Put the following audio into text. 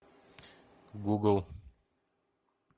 гугл